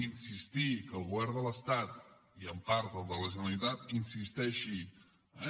insistir que el govern de l’estat i en part el de la generalitat insisteixin eh